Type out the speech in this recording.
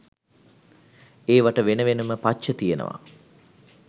ඒවට වෙන වෙනම පච්ච තියෙනවා.